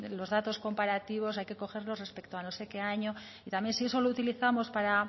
los datos comparativos hay que cogerlos respecto a no sé qué año y también si eso lo utilizamos para